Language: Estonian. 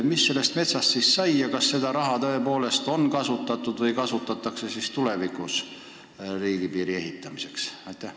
Mis sellest metsast siis sai ja kas seda raha on tõepoolest kasutatud või kasutatakse tulevikus riigipiiri ehitamiseks?